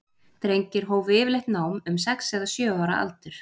Drengir hófu yfirleitt nám um sex eða sjö ára aldur.